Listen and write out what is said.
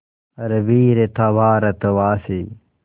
हर वीर था भारतवासी